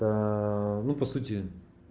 ну по сути